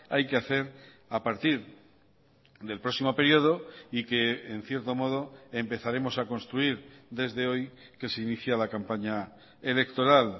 hay que hacer a partir del próximo período y que en cierto modo empezaremos a construir desde hoy que se inicia la campaña electoral